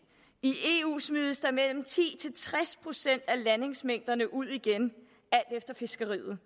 i eu smides der mellem ti til tres procent af landingsmængderne ud igen alt efter fiskeriet